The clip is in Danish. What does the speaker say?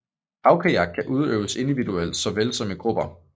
Havkajak kan udøves individuelt såvel som i grupper